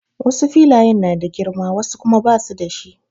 Wasu filayen na da girma wasu kuma basu da shi.